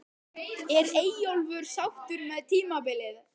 Er Eyjólfur sáttur með tímabilið?